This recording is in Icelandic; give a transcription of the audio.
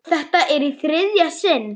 Þetta er í þriðja sinn.